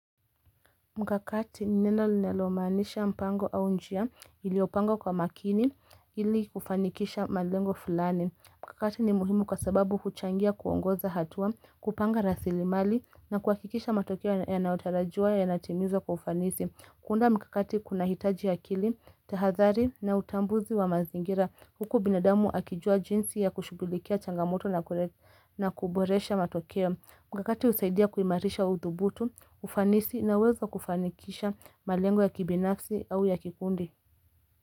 Mkakati ni neno linalomaanisha mpango au njia iliopangwa kwa makini ili kufanikisha malengo filani. Mkakati ni muhimu kwa sababu kuchangia kuongoza hatua kupanga rasilimali na kuhakikisha matokeo yanayotarajiwa yanatimizwa kwa ufanisi. Kuunda mkakati kuna hitaji akili, tahadhari na utambuzi wa mazingira huku binadamu akijua jinsi ya kushughulikia changamoto na kuboresha matokeo. Mkakati husaidia kuimarisha uthubutu, ufanisi na uwezo wa kufanikisha malengo ya kibinafsi au ya kikundi.